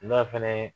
N'a fɛnɛ